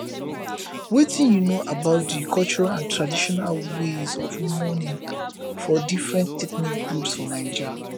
wetin you know about di cultural and traditional ways of mourning for different ethnic groups for naija